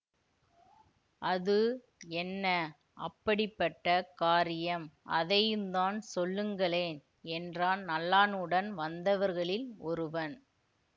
அது என்ன அப்படிப்பட்ட காரியம் அதையுந்தான் சொல்லுங்களேன் என்றான் நல்லானுடன் வந்தவர்களில் ஒருவன்